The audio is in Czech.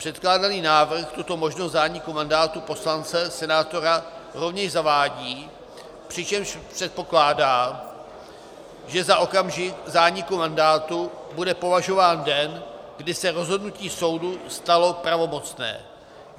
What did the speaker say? Předkládaný návrh tuto možnost zániku mandátu poslance, senátora rovněž zavádí, přičemž předpokládá, že za okamžik zániku mandátu bude považován den, kdy se rozhodnutí soudu stalo pravomocné.